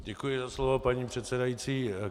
Děkuji za slovo, pane předsedající.